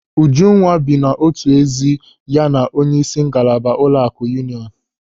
Ujunwa bi n'otu ezi ya na onyeisi ngalaba ụlọaku Yuuniọnụ.